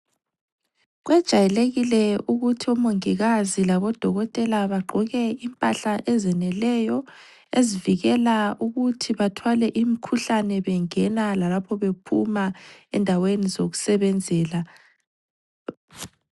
Kwejayelekile ukuthi omongikazi labodokotela bagqoke impahla ezeneleyo ezivikela ukuthi bathwale imikhuhlane bengena lalapho bephuma endaweni zokusebenzela.